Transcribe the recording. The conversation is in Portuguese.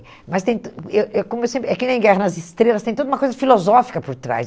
Mas tem É que nem Guerra nas Estrelas, tem toda uma coisa filosófica por trás.